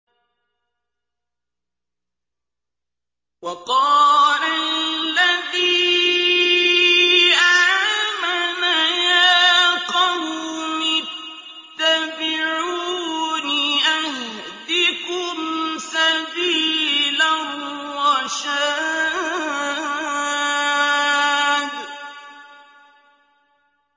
وَقَالَ الَّذِي آمَنَ يَا قَوْمِ اتَّبِعُونِ أَهْدِكُمْ سَبِيلَ الرَّشَادِ